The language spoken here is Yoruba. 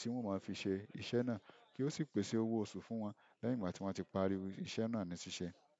tí wọ́n ó máa fi ṣe iṣẹ́ náà kí ó sì pèsè owó oṣù fún wọn lẹ́yìn ìgbà tí wọ́n ti parí iṣẹ́ náà ní ṣíṣe.